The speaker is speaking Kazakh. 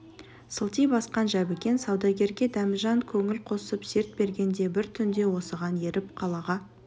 сылти басқан жәбікен саудагерге дәмежан көңіл қосып серт берген де бір түнде осыған еріп қалаға